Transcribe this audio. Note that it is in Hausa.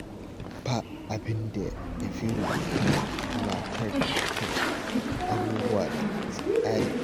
Ba abin da ya fi rubutu tunatar da mutum abubuwa da tsari.